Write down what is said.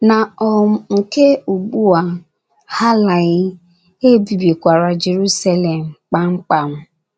Na um nke ugbu a, ha alaghị, e bibikwara Jeruselem kpamkpam.